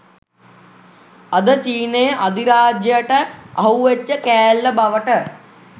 අද චීනයේ අධිරාජ්‍යයට අහුවෙච්ච කෑල්ල බවට